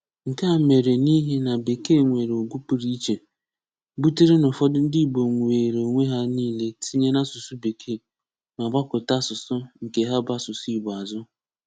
Nke a mere n’ihi na Békee nwere ùgwù pụrụ iche, butèrè na ụ̀fọ̀dù ndị Ìgbò wèèrè onwe hà niile tinye n’asụ̀sụ́ Békee, mà gbàkụ̀tà asụ̀sụ́ nke hà bụ́ asụ̀sụ́ Ìgbò àzụ.